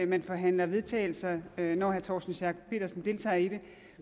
man forhandler vedtagelser når herre torsten schack pedersen deltager i det